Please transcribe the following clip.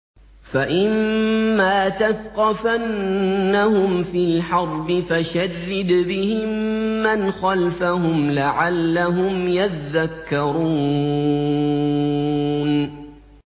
فَإِمَّا تَثْقَفَنَّهُمْ فِي الْحَرْبِ فَشَرِّدْ بِهِم مَّنْ خَلْفَهُمْ لَعَلَّهُمْ يَذَّكَّرُونَ